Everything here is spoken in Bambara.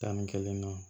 Tan ni kelen na